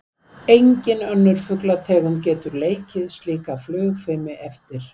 Engin önnur fuglategund getur leikið slíka flugfimi eftir.